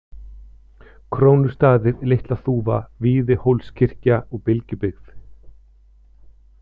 Krónustaðir, Litlaþúfa, Víðihólskirkja, Bylgjubyggð